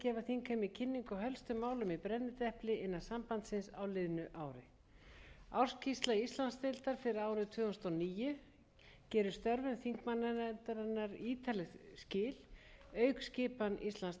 þingheimi kynningu á helstu málum í brennidepli innan sambandsins á liðnu ári ársskýrsla íslandsdeildar fyrir á rið tvö þúsund og níu gerir stöfum þingmannanefndarinnar ítarleg skil auk skipanar íslandsdeildar ég mun því aðeins stikla á